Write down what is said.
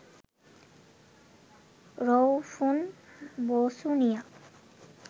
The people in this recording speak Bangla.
রউফুন বসুনিয়া